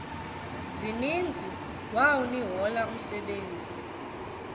zininzi wawnehola umsebenzi